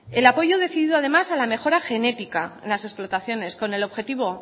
el apoyo decidido además a la mejora genética en las explotaciones con el objetivo